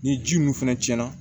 Ni ji min fɛnɛ cɛnna